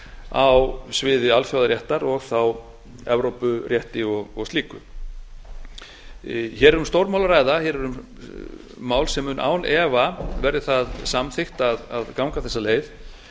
á sviði alþjóðaréttar og þá evrópurétti og slíku hér er um stórmál að ræða hér er mál sem mun án efa verði það samþykkt að ganga þessa leið